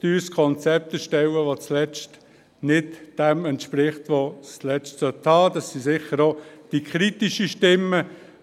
Ein teures Konzept zu erstellen, das zuletzt nicht dem entspricht, was es bieten sollte – das sind sicher auch die kritischen Stimmen.